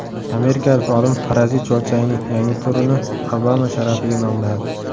Amerikalik olim parazit chuvalchangning yangi turini Obama sharafiga nomladi.